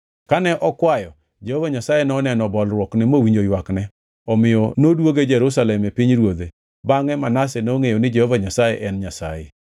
Kane okwayo, Jehova Nyasaye noneno bolruokne mowinjo ywakne omiyo nodwoge Jerusalem e pinyruodhe; bangʼe Manase nongʼeyo ni Jehova Nyasaye en Nyasaye.